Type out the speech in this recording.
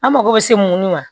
An mago bɛ se mun ma